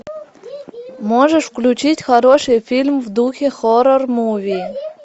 можешь включить хороший фильм в духе хоррор муви